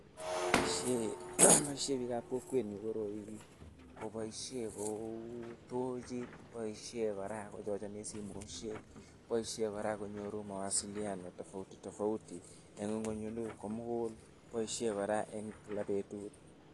Boisyen bikab kokwenyun koroi, koboisyen kou tochit, boisyen koraa kochacheni simoshek, boisyen koraa konyoru mawasiliano tofauti tofauti eng ngwany komukul, boisyen koraa eng Kila betut.